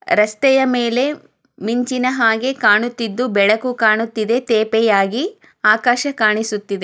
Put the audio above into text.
ರಸ್ತೆಯ ಮೇಲೆ ಮಿಂಚಿನ ಹಾಗೆ ಕಾಣುತ್ತಿದ್ದು ಬೆಳಕು ಕಾಣಿಸುತ್ತಿದೆ ತೇಪೆಯಾಗಿ ಆಕಾಶ ಕಾಣಿಸುತ್ತಿದೆ.